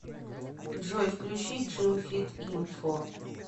джой включи джим фит инфо